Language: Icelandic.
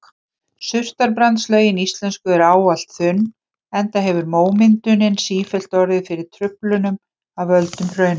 Surtarbrandslögin íslensku eru ávallt þunn enda hefur mómyndunin sífellt orðið fyrir truflunum af völdum hraunrennslis.